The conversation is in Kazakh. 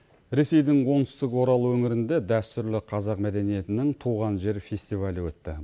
ресейдің оңтүстік орал өңірінде дәстүрлі қазақ мәдениетінің туған жер фестивалі өтті